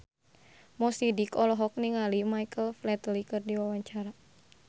Mo Sidik olohok ningali Michael Flatley keur diwawancara